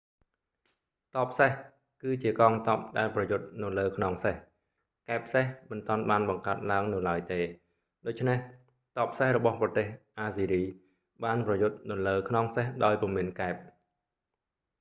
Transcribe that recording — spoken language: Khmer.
ទ័ពសេះ គឺជាកងទ័ពដែលប្រយុទ្ធនៅលើខ្នងសេះ កែបសេះមិនទាន់បានបង្កើតឡើងនៅឡើយទេ ដូច្នេះទ័ពសេះរបស់ប្រទេសអាស្ស៊ីរីបានប្រយុទ្ធនៅលើខ្នងសេះដោយពុំមានកែប